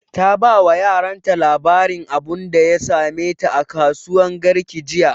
Ta ba wa yaran ta labarin abunda ya same ta a kasuwan garki jiya